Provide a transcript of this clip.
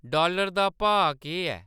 dollar दा भाऽ केह्‌‌ ऐ